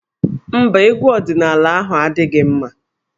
Mba, egwu ọdịnaala ahụ adịghị mma.